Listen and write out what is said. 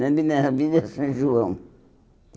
Na Avenida na avenida São João.